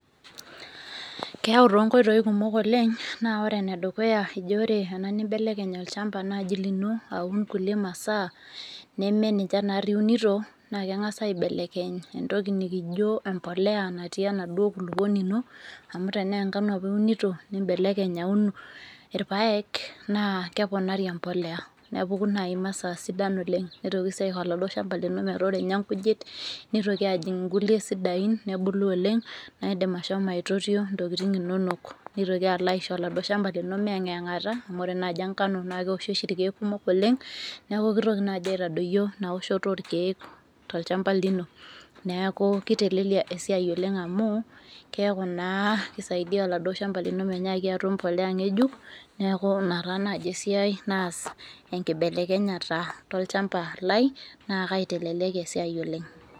Keyau too nkoitoi kumok oleng naa ore ene dukuya eji wore ena nibelekeny olchamba naaji lino aun kulie masaa neme ninche naari iunito naa kengas aibelekeny etoki nikijo embolea natii enaduo nkulupuoni ino amu tenaa engano apa iunito nitoki nibelekeny aun irpaek naa keponari embolea nepuku naaji masaa sidai oleng nitoki sii aisho oladuo shamba lino metaa ore ninye kujit nitoki ajing inkulie sidain nebolu oleng naa idim ashomo aitotio ntokitin inonok ilo aisho oladuo shamba lino meyayingata amu ore oshi engano naa kewoshi irkek kumok oleng nitoki naaji aitadayio ina woshoto oo irkek tolchamba lino neaku kitelelia esiai oleng amu keaku naa kisaidia oladuo shamba lino menyaki atum embolea ngejuk neaku ina taa naaji esiai naas enkibelekenyeta tolchamba lai naa kaitelelekia esiai oleng .